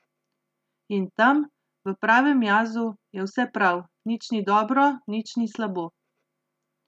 In tam, v pravem jazu, je vse prav, nič ni dobro, nič ni slabo.